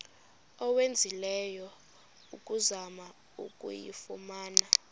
owenzileyo ukuzama ukuyifumana